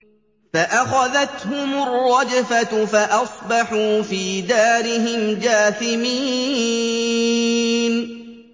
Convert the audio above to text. فَأَخَذَتْهُمُ الرَّجْفَةُ فَأَصْبَحُوا فِي دَارِهِمْ جَاثِمِينَ